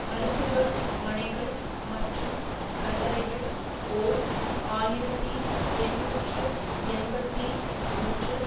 மருத்துவ மனைகள் மற்றும் கல்லறைகள் ஓர் ஆயிரத்தி எண்ணூற்று எண்பத்தி ஒன்றில்